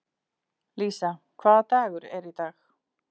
Lísa, hvaða dagur er í dag?